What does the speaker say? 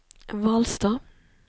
Hvalstad